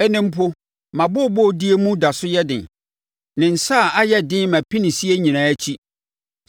“Ɛnnɛ mpo, mʼabooboodie mu da so yɛ den; ne nsa ayɛ den mʼapinisie nyinaa akyi.